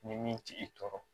Ni min t'i tɔɔrɔ